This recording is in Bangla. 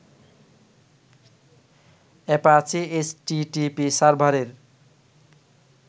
অ্যাপাচি এইচটিটিপি সার্ভারের